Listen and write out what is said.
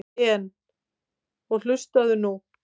En. og hlustaðu nú